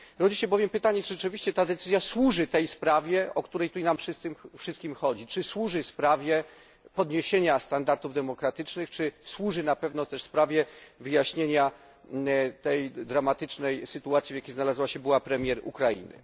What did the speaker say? Rodzi się bowiem pytanie, czy rzeczywiście ta decyzja służy sprawie, o którą nam wszystkim chodzi sprawie podniesienia standardów demokratycznych, czy służy na pewno też sprawie wyjaśnienia tej dramatycznej sytuacji, w jakiej znalazła się była premier Ukrainy?